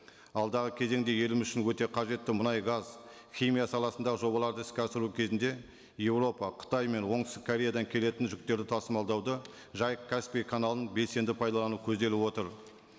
алдағы кезеңде еліміз үшін өте қажетті мұнай газ химия саласындағы жобаларды іске асыру кезінде еуропа қытай мен оңтүстік кореядан келетін жүктерді тасымалдауда жайық каспий каналын белсенді пайдалану көзделіп отыр